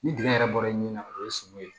Ni dingɛ yɛrɛ bɔra i ni na o ye sogo ye